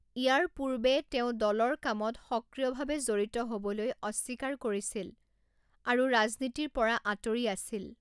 ইয়াৰ পূৰ্বে তেওঁ দলৰ কামত সক্ৰিয়ভাৱে জড়িত হ'বলৈ অস্বীকাৰ কৰিছিল আৰু ৰাজনীতিৰ পৰা আঁতৰি আছিল।